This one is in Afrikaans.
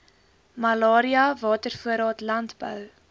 malaria watervoorraad landbou